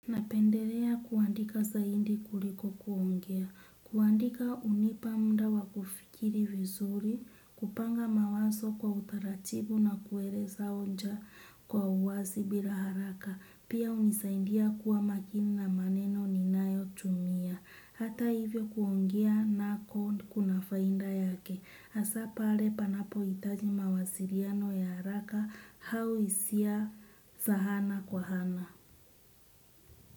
Napendelea kuandika zaidi kuliko kuongea, kuandika hunipa muda wa kufikiri vizuri, kupanga mawazo kwa utaratibu na kueleza hoja kwa uwazi bila haraka, pia hunisaidia kuwa makini na maneno ninayotumia. Hata hivyo kuongea naki kuna faida yake, hasa pale panapo hitaji mawasiliano ya haraka au hisia za ana kwa ana.